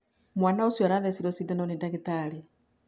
Mwana ũcio arathecirwo cindano nĩ ndagĩtarĩ.